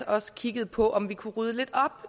også kiggede på om vi kunne rydde lidt op